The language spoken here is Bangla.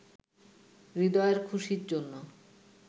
হৃদয়ের খুশির জন্য